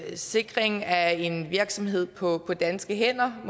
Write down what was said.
sikring af en virksomhed på danske hænder